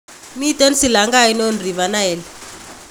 Miten silanga ainon River Nile?